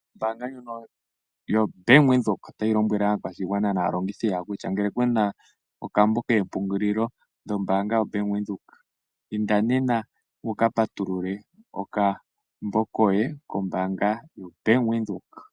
Ombaanga ndjono yoBank Windhoek otayi lombwele aakwashigwana naalongithi yawo kutya, ngele kuna okambo keempungulilo dhombaanga yoBank Windhoek, inda nena wu ka patulule okambo koye, kombaanga yoBank Windhoek.